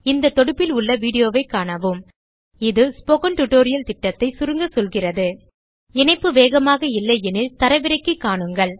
இந்த தொடுப்பில் உள்ள வீடியோ ஸ்போக்கன் டியூட்டோரியல் திட்டத்தை சுருங்க சொல்கிறது httpspokentutorialorgWhat is a Spoken Tutorial இணைப்பு வேகமாக இல்லை எனில் தரவிறக்கி காணுங்கள்